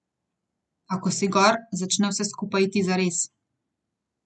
A ko si gor, začne vse skupaj iti zares.